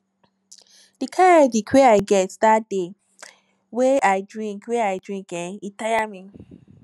di kind headache wey i get dat day wey i drink wey i drink eh e tire me